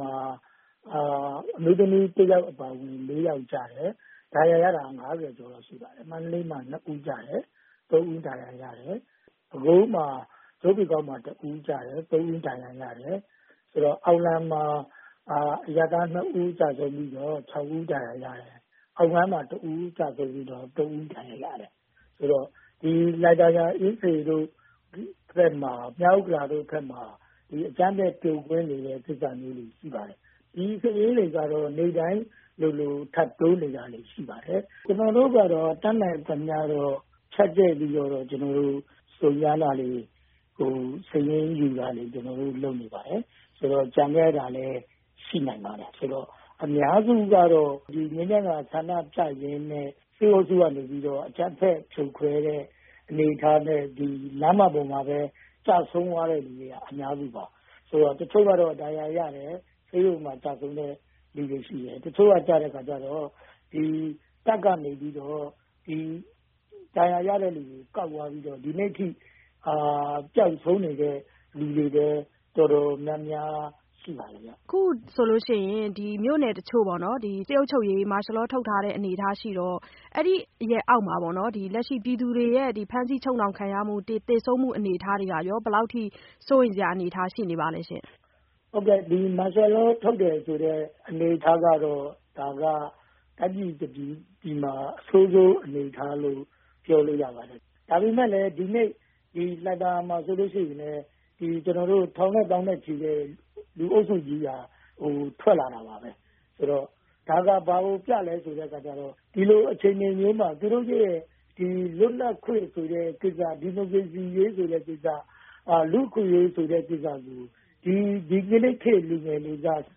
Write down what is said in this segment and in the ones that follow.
မှာ အမျိုးသမီးတဦးအပါအဝင် ၄ ယောက်ကျတယ်။ ဒဏ်ရာရတာက ၅၀ ကျော်လောက်ရှိပါတယ်။ မန္တလေးမှာ ၂ ဦးကျတယ်၊ ၃ ဦးဒဏ်ရာရတယ်။ ပဲခူးမှာ ကြို့ပင်ကောက်မှာ ၁ ဦးကျတယ်။ ၃ ဦးဒဏ်ရာရတယ်။ အောင်လံမှာ ၂ ဦး ကျဆုံးပြီးတော့ ၆ ဦးဒဏ်ရာရတယ်။ အောင်ပန်းမှာ ၂ ဦးကျဆုံးပြီး ၃ ဦးဒဏ်ရာရတယ်။ ဒီလှိုင်သာယာတို့၊ အင်းစိန်တို့၊ မြောက်ဥက္ကလာတို့ဘက်မှာ အခုအချိန်အထိ အကြမ်းဖက်ဖြိုခွဲနေဆဲကိစ္စတွေ ရှိနေပါတယ်။ ဒီစာရင်းတွေက နေ့တိုင်းလိုလို ထပ်ထပ်ပြီး တိုးနေတာတွေရှိပါတယ်။ ကျနော်တို့ဘက်ကတော့ ဖြန့်ကျက်ပြီးတော့ တတ်နိုင်သလောက်တော့ စုံစမ်းနေတာတွေ ရှိပါတယ်။ ကျန်ခဲ့တာတွေလည်း ရှိနိုင်ပါတယ်။ သေဆုံးသူအများစုကတော့ ငြိမ်းချမ်းစွာဆန္ဒပြရင်းနဲ့ စစ်အုပ်စုကနေ အကြမ်းဖက်ဖြိုခွဲတဲ့အတွက် လမ်းမတွေပေါ်မှာပဲ ကျဆုံးသွားရတဲ့သူတွေက အများစုပါ။ တချို့ကျတော့ လမ်းမပေါ်မှာ ဒဏ်ရာရတယ်။ ဆေးရုံမှာ ကျဆုံးတဲ့သူတွေလည်းရှိပါတယ်။ တချို့ကျတော့လည်း လမ်းမပေါ်မှာ ဒဏ်ရာရတယ်။ တပ်တွေကနေ ကောက်ယူသွားပြီးတော့ ဒီကနေ့အထိ ပျောက်ဆုံးနေတဲ့သူတွေလည်း တော်တော်များများရှိနေပါတယ်ဗျ။ မဆုမွန်။ ။ အခုဆိုရင် မြို့နယ်တချို့မှာ စစ်အုပ်ချုပ်ရေး မာရှယ်လော ထုတ်ထားတဲ့အနေအထားရှိတော့ အဲ့ဒီ့အုပ်ချုပ်ရေးအောက်မှာ ပြည်သူတွေ ဖမ်းဆီးချုပ်နှောင်ခံရမှု သေဆုံးမှုတွေက ဘယ်လောက်အထိ စိုးရိမ်စရာအနေအထားရှိနေပါလဲရှင့်။ ကိုတိတ်နိုင်။ ။ ဟုတ်ကဲ့ မာရှယ်လောထုတ်ရတယ်ဆိုတဲ့ အနေအထားက တိုင်းပြည်တပြည်မှာ အဆိုးဆုံးအနေအထားလို့ ပြောလို့ရပါတယ်။ ဒါပေမဲ့ ဒီနေ့ လှိုင်သာယာမှာဆိုရင်လည်း လူတွေ ထောင်ချီတဲ့ လူအုပ်စုကြီးက ထွက်လာကြတာတွေ့ရပါတယ်။ ဒါက ဘာကိုပြသလဲဆိုတော့ လူထုဘက်က သူတို့ရဲ့လွတ်လပ်ခွင့်ဆိုတဲ့ကိစ္စ ဒီမိုကရေစီရေး လူ့အခွင့်အရေးတွေကို ဒီကနေ့ လူငယ်တွေက အ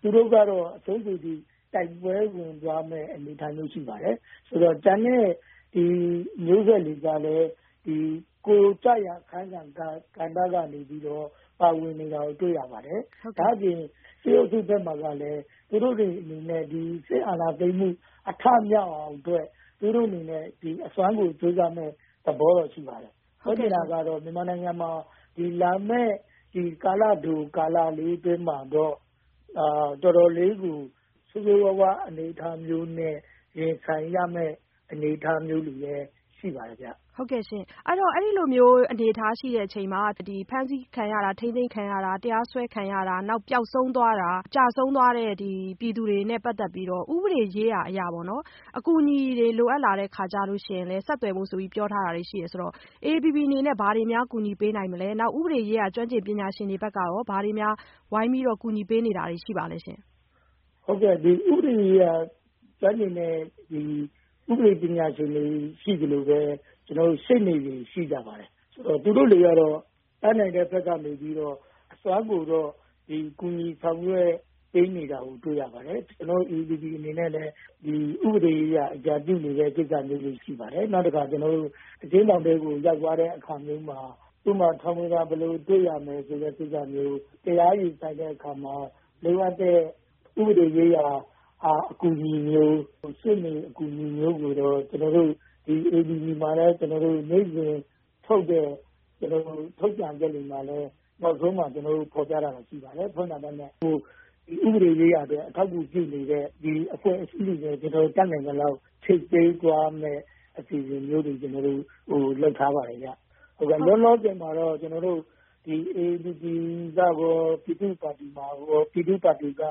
စွန်းဆုံး အနေအထားအထိ တိုက်ပွဲဝင်သွားမယ့်အနေအထားဖြစ်ပါတယ်။ ကျန်တဲ့မျိုးဆက်တွေကလည်း ကျရာအခန်းကဏ္ဍကနေ ပါဝင်နေတာကိုတွေ့ရပါတယ်။ ဒါ့အပြင် စစ်အုပ်စုဘက်မှာကလည်း သူတို့စစ်အာဏာသိမ်းမှု အထမြောက်အောင် အစွမ်းကုန်ကြိုးစားမယ့်အနေအထားရှိနေပါတယ်။ ပြောချင်တာကတော့ မြန်မာနိုင်ငံမှာ လာမယ့်ကာလတို ကာလလေးအတွင်းမှာ တော်တော်လေးကို ဆိုးဆိုးဝါးဝါးအနေအထားမျိုးနဲ့ ရင်ဆိုင်ရမယ့်အနေအထားမျိုးတွေရှိနေပါတယ်ဗျ။ မဆုမွန်။ ။ အဲ့ဒီတော့ အဲ့သလိုစိုးရိမ်စရာအနေအထားရှိလာချိန်မှာ ဖမ်းဆီးခံရတာ ထိန်းသိမ်းခံရတာ တရားစွဲခံရတာ နောက် ပျောက်ဆုံးသွားတာ ကျဆုံးသွားတဲ့ပြည်သူတွေနဲ့ပတ်သက်ပြီးတော့ ဥပဒေရေးရာအရ အကူအညီတွေ လိုအပ်လာတဲ့အခါကျတော့ အေအေပီပီအနေနဲ့ ဘာတွေများကူညီပေးနိုင်တာရှိလဲ။ နောက်ဥပဒေရေးရာ ကျွမ်းကျင်ပညာရှင်တွေဘက်က ဘာတွေ ဝိုင်းပြီး ကူညီပေးနေတာတွေရှိပါလဲရှင့်။ ကိုတိတ်နိုင်။ ။ အခု ဥပဒေရေးရာပညာရှင်တွေလည်းရှိတယ်၊ ရှေ့နေတွေလည်းရှိပါတယ်။ သူတို့တွေကတော့ တတ်နိုင်တဲ့ဘက်ကနေ အစွမ်းကုန်ကူညီဆောင်ရွက်ပေးနေတာတွေတွေ့ပါတယ်။ ကျနော်တို့ အေအေပီပီအနေနဲ့လည်း ဥပဒေရေးရာအကြံပြုနေတာတွေရှိပါတယ်။ နောက်တခါ အကျဉ်းထောင်ထဲရောက်သွားရင်လည်း ဥပမာ ထောင်ဝင်စာ ဘယ်လိုတွေ့ရမလဲ။ တရားရင်ဆိုင်တဲ့အခါ လိုအပ်တဲ့ ဥပဒေရေးရာအကူအညီမျိုး ရှေ့နေအဆက်အသွယ်တွေကို AAPP ရဲ့နေ့စဉ် ထုတ်ပြန်ချက်တိုင်းမှာ နောက်ဆုံးမှာ ဖုန်းနံပတ်တွေ ဖော်ပြပေးထားတာရှိပါတယ်။ နောက် ဥပဒေရေးရာ အထောက်အကူပြုနေတဲ့ အဖွဲ့အစည်းတွေနဲ့ တတ်နိုင်သလောက် ချိတ်ပေးသွားမယ့် အစီအစဉ်မျိုးတွေ လုပ်ထားပါတယ်။ လောလောဆယ်မှာတော့ AAPP မှာတော့ ပြည်သူ့ပါတီက ဥပ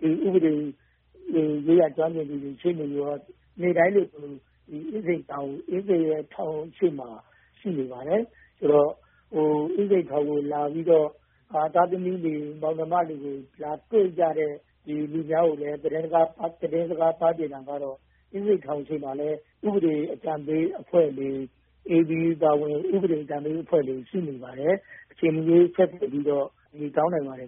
ဒေရေးရာ ကျွမ်းကျင်တဲ့ ပညာရှင်တွေနဲ့ ရှေ့နေတွေက နေ့တိုင်းလိုလို အင်းစိန်ထောင်ရှေ့မှာ ရှိနေပါတယ်။ အင်းစိန်ထောင်ကို ရောက်လာပြီး ပျောက်ဆုံးဖမ်းဆီးခံရတဲ့ မိသားစုတွေ၊ သားသမီးတွေကို လာရှာကြတဲ့ ပြည်သူတွေကို သတင်းစကားပါးချင်တာက အင်းစိန်ထောင်ရှေ့မှာလည်း ဥပဒေအကြံပေးအဖွဲ့တွေရှိနေပါတယ်။ အေအေပီပီက ဥပဒေအကြံပေးအဖွဲ့တွေ ရှိနေပါတယ်။ မိသားစုတွေက အဲ့ဒီ့ဥပဒေအကြံပေးအဖွဲ့တွေကို အချိန်မရွေးဆက်သွယ်ပြီးတော့ အကူအညီတောင်းနိုင်ပါတယ်